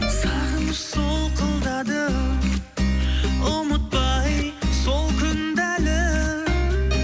сағыныш солқылдады ұмытпай сол күнді әлі